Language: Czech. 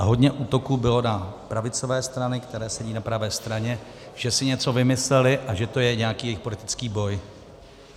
A hodně útoků bylo na pravicové strany, které sedí na pravé straně, že si něco vymyslely a že to je nějaký jejich politický boj.